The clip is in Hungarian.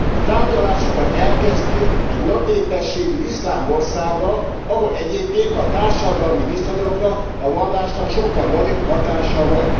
A tárgyalásokat elkezdtük egy nagy népességű iszlám országgal, ahol egyébként a társadalmi viszonyokra a vallásnak sokkal nagyobb hatása van.